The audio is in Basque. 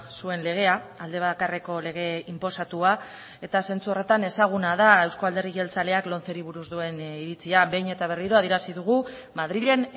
zuen legea alde bakarreko lege inposatua eta zentzu horretan ezaguna da euzko alderdi jeltzaleak lomceri buruz duen iritzia behin eta berriro adierazi dugu madrilen